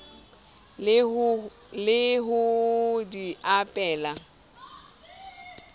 e le ho di abela